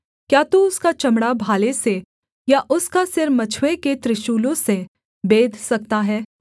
क्या तू उसका चमड़ा भाले से या उसका सिर मछुए के त्रिशूलों से बेध सकता है